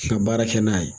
Ka baara kɛ n'a ye